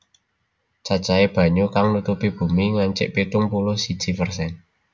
Cacahé banyu kang nutupi bumi ngancik pitung puluh siji persen